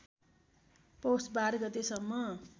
पौष १२ गतेसम्म